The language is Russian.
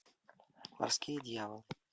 морские дьяволы